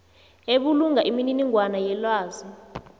ebulunga imininingwana yelwazi